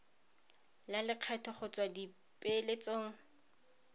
la lekgetho go tswa dipeeletsong